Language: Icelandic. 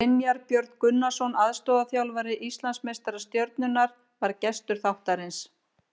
Brynjar Björn Gunnarsson, aðstoðarþjálfari Íslandsmeistara Stjörnunnar, var gestur þáttarins.